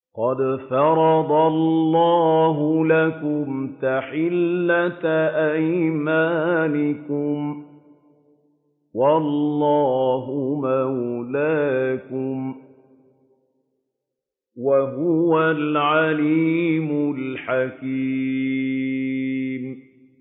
قَدْ فَرَضَ اللَّهُ لَكُمْ تَحِلَّةَ أَيْمَانِكُمْ ۚ وَاللَّهُ مَوْلَاكُمْ ۖ وَهُوَ الْعَلِيمُ الْحَكِيمُ